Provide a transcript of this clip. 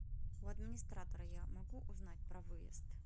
у администратора я могу узнать про выезд